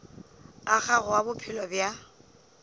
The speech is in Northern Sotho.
a gago a bophelo bja